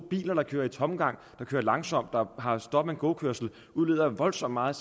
biler der kører i tomgang der kører langsomt der har stop and go kørsel udleder voldsomt meget